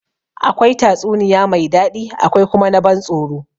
Akwai tatsuniya mai daɗi akwai kuma na ban tsoro.